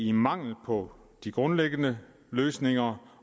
en mangel på grundlæggende løsninger